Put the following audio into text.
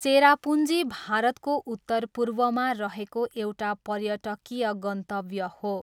चेरापुन्जी भारतको उत्तरपूर्वमा रहेको एउटा पर्यटकीय गन्तव्य हो।